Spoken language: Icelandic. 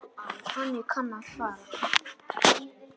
Þannig kann að fara.